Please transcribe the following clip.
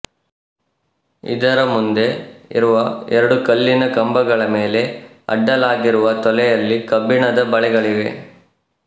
ಇದರ ಮುಂದೆ ಇರುವ ಎರಡು ಕಲ್ಲಿನ ಕಂಬಗಳ ಮೇಲೆ ಅಡ್ಡಲಾಗಿರುವ ತೊಲೆಯಲ್ಲಿ ಕಬ್ಬಿಣದ ಬಳೆಗಳಿವೆ